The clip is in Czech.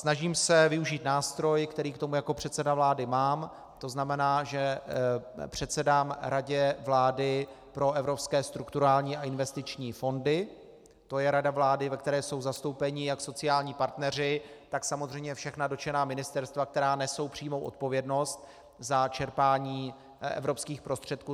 Snažím se využít nástroj, který k tomu jako předseda vlády mám, to znamená, že předsedám Radě vlády pro evropské strukturální a investiční fondy, to je rada vlády, ve které jsou zastoupeni jak sociální partneři, tak samozřejmě všechna dotčená ministerstva, která nesou přímou odpovědnost za čerpání evropských prostředků.